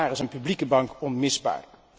Ook daar is een publieke bank onmisbaar.